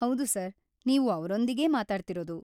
ಹೌದು ಸರ್‌, ನೀವು ಅವ್ರೊಂದಿಗೇ ಮಾತಾಡ್ತಿರೋದು.